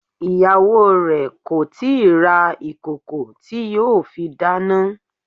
Ìyàwó re kò tíì ra ìkòkò tí yóò fi dáná.